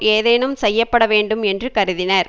ஏதேனும் செய்ய பட வேண்டும் என்று கருதினர்